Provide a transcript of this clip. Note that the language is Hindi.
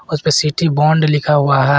उसपे सीटी बॉन्ड लिखा हुआ है।